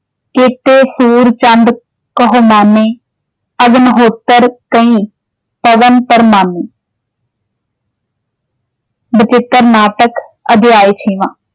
ਕੇਤੇ ਸੂਰ ਚੰਦ ਕਹੁ ਮਾਨੈ, ਅਗਨਹੋਤ੍ਰ ਕਈ ਪਵਨ ਪ੍ਰਮਾਨੈ ਬਚਿੱਤਰ ਨਾਟਕ ਅਧਿਆਇ ਛੇਵਾਂ।